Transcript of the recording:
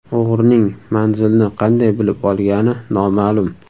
O‘g‘rining manzilni qanday bilib olgani noma’lum.